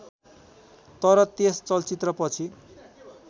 तर त्यस चलचित्रपछि